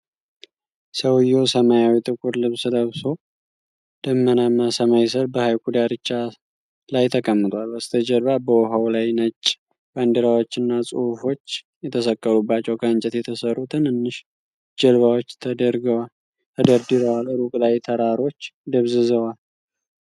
ሰውየው ሰማያዊ ጥቁር ልብስ ለብሶ፣ ደመናማ ሰማይ ስር በሐይቁ ዳርቻ ሳር ላይ ተቀምጧል። በስተጀርባ በውሃው ላይ ነጭ ባንዲራዎችና ጽሑፎች የተሰቀሉባቸው ከእንጨት የተሠሩ ትንንሽ ጀልባዎች ተደርድረዋል። ሩቅ ላይ ተራሮች ደብዝዘዋል።